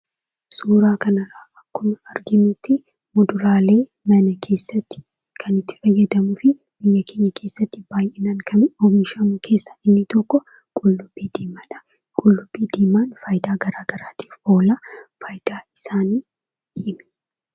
Suuraa kanarraa akkuma arginutti muduraalee mana keessatti kan itti fayyadamnuufi biyya keenya keessa baayyinaan kan oomishamu keessaa inni tokoo qullubbii diimaadha. Qullubbii diimaan faayidaa gara garaatiif oola. Fayidaa isaanii himi.